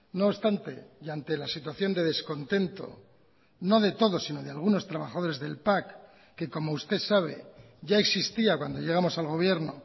no obstante y ante la situación de descontento no de todos sino de algunos trabajadores del pac que como usted sabe ya existía cuando llegamos al gobierno